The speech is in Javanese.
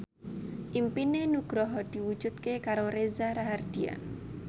impine Nugroho diwujudke karo Reza Rahardian